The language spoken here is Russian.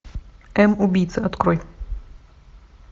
м убийца открой